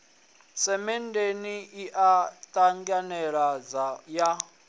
semenndeni i a ṱavhanyedza u